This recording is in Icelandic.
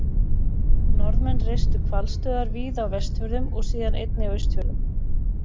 Norðmenn reistu hvalstöðvar víða á Vestfjörðum og síðar einnig á Austfjörðum.